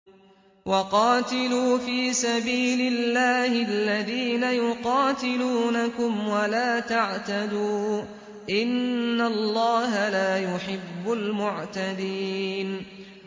وَقَاتِلُوا فِي سَبِيلِ اللَّهِ الَّذِينَ يُقَاتِلُونَكُمْ وَلَا تَعْتَدُوا ۚ إِنَّ اللَّهَ لَا يُحِبُّ الْمُعْتَدِينَ